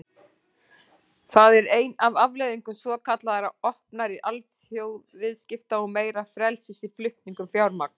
Það er ein af afleiðingum svokallaðra opnari alþjóðaviðskipta og meira frelsis í flutningum fjármagns.